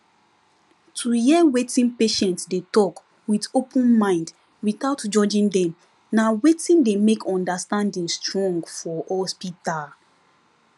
to hear wetin patient dey talk with open mind without judging dem na wetin dey make understanding strong for hospital